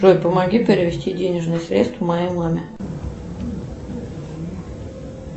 джой помоги перевести денежные средства моей маме